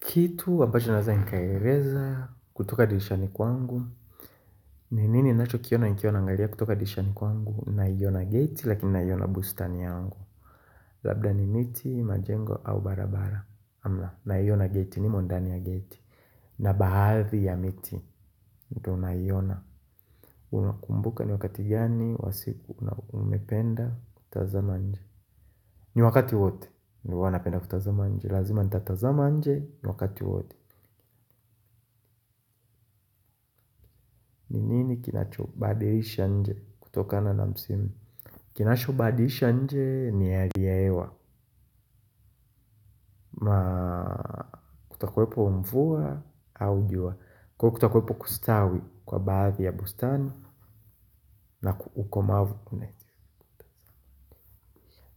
Kitu ambacho naeza nikaeleza kutoka dirishani kwangu. Ni nini nacho kiona nikiwa naangalia kutoka dirishani kwangu. Nai ona geti lakini nai ona bustani yangu. Labda ni miti, majengo au barabara. Ama naiona geti nimo ndani ya geti. Na bahadhi ya miti. Ndo naiona. Unakumbuka ni wakati gani, wa siku na umependa, kutazama nje. Ni wakati wote. Ni huwa napenda kutazama nje. Lazima nitatazama nje, ni wakati wote. Ni nini kinachobadilisha nje kutokana na msimu. Kinachobadilisha nje ni hali ya hewa. Ma kutakwepo mvua au jua. Kwa kutakwepo kustawi kwa baadhi ya bustani na ukomavu kune